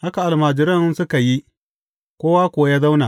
Haka almajiran suka yi, kowa kuwa ya zauna.